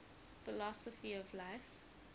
philosophy of life